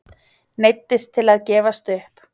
Neyddist til að gefast upp.